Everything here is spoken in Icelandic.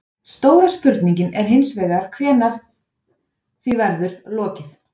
Stóra spurningin er hins vegar hvenær því verður lokið?